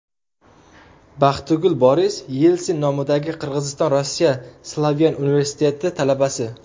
Baxtigul Boris Yelsin nomidagi Qirg‘iziston-Rossiya Slavyan universiteti talabasi.